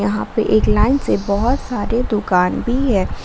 यहां पे एक लाइन से बहुत सारे दुकान भी है।